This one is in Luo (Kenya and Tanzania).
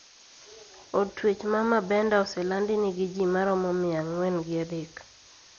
Od twech ma Bamenda oselandi nigi ji maromo mia ang`wen gi adek.